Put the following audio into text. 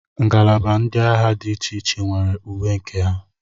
ngalaba ndị agha dị iche iche nwere uwe nke ha